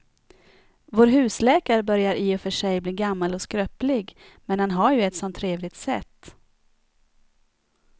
Vår husläkare börjar i och för sig bli gammal och skröplig, men han har ju ett sådant trevligt sätt!